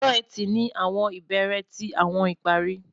Ọjọ́-Ẹtì ni awọn ibere ti awọn ìparí